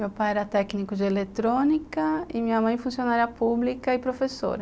Meu pai era técnico de eletrônica e minha mãe funcionária pública e professora.